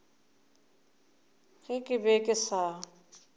ge ke be ke sa